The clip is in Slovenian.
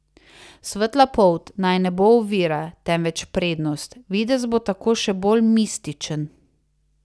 Svetla polt naj ne bo ovira, temveč prednost, videz bo tako še bolj mističen.